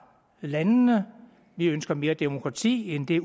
landene vi ønsker mere demokrati end det